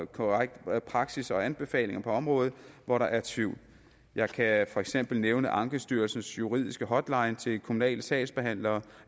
korrekt praksis og anbefalinger på områder hvor der er tvivl jeg kan for eksempel nævne ankestyrelsens juridiske hotline til kommunale sagsbehandlere